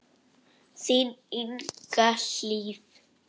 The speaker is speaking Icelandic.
Þín Inga Hlíf.